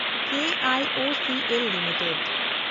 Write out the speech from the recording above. ᱠᱤ I O C L limited